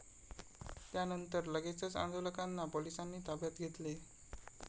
त्यानंतर लगेचच आंदोलकांना पोलिसांनी ताब्यात घेतले.